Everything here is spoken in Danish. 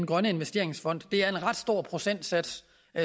grønne investeringsfond det er en ret stor procentsats